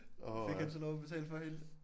Fik han så lov at betale for hende?